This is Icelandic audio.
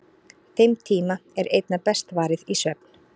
Þeim tíma er einna best varið í svefn.